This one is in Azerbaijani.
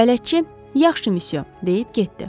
Bələdçi, yaxşı missiyon deyib getdi.